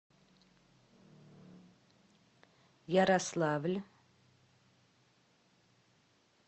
ярославль